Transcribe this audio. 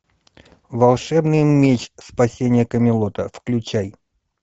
волшебный меч спасение камелота включай